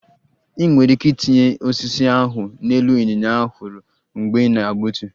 Ị nwere ike itinye osisi ahụ n'elu ịnyịnya a hụrụ mgbe ị na-egbutu